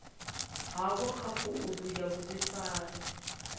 havho kha khoudu ya vhudifari